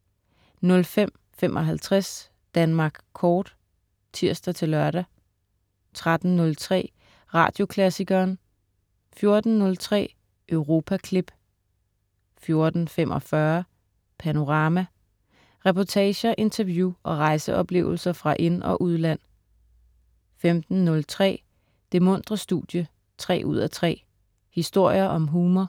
05.55 Danmark kort* (tirs-lør) 13.03 Radioklassikeren* 14.03 Europaklip* 14.45 Panorama. Reportager, interview og rejseoplevelser fra ind- og udland 15.03 Det muntre studie 3:3. Historier om humor.